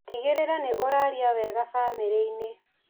Tigĩrĩra nĩ ũraria wega bamĩrĩ-inĩ.